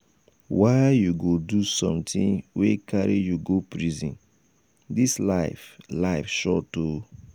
why you go do something wey carry you go prison ?dis life life short oo.